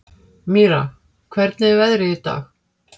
Mýra, hvernig er veðrið í dag?